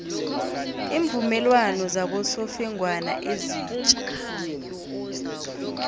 iimvumelwano zabosofengwana ezitja